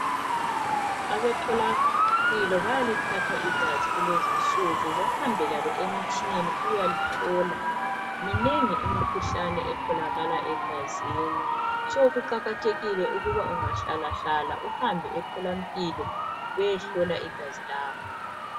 Abemtholampilo bayalithatha igazi kulezi insuku bahambe lalo emtshineni ukuyalihlola. Minengi imikhuhlane etholakala egazini. Kuqakathekile ukuthi ungahlala hlala uhambe emtholampilo uyehlola igazi lakho.